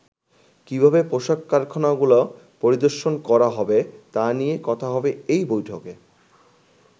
কিভাবে পোশাক কারখানাগুলো পরিদর্শন করা হবে তা নিয়ে কথা হবে এই বৈঠকে।